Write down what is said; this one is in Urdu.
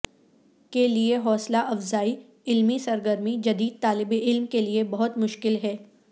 کے لئے حوصلہ افزائی علمی سرگرمی جدید طالب علم کے لئے بہت مشکل ہے